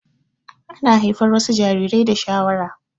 Ana haifar wasu jarirai da shawara